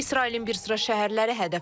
İsrailin bir sıra şəhərləri hədəf alınıb.